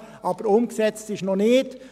Aber umgesetzt ist es noch nicht.